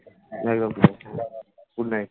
হ্যাঁ রাখো, Good night